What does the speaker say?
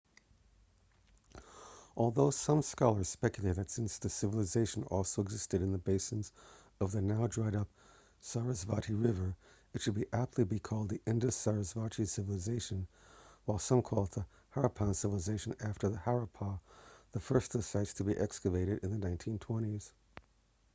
although some scholars speculate that since the civilisation also existed in the basins of the now dried up sarasvati river it should be aptly called the indus-sarasvati civilization while some call it the harappan civilization after harappa the first of its sites to be excavated in the 1920s